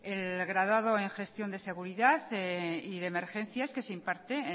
el graduado en gestión de seguridad y de emergencias y se imparte